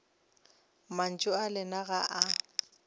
mantšu a lena ga o